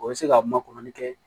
O bɛ se ka makɔrɔni kɛ